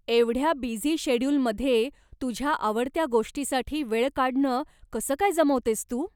एवढ्या बिझी शेड्यूलमध्ये तुझ्या आवडत्या गोष्टीसाठी वेळ काढणं कसं काय जमवतेस तू?